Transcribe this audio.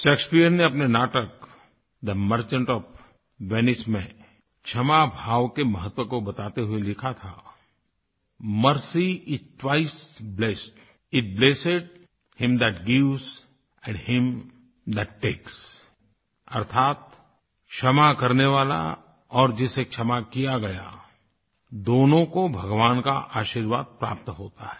Shakespeare ने अपने नाटक थे मर्चेंट ओएफ वेनाइस में क्षमा भाव के महत्त्व को बताते हुए लिखा था mercy is twice blest it blesseth him that gives and him that takes अर्थात् क्षमा करने वाला और जिसे क्षमा किया गया दोनों को भगवान का आशीर्वाद प्राप्त होता है